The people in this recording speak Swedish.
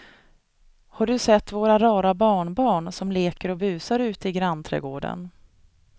Har du sett våra rara barnbarn som leker och busar ute i grannträdgården!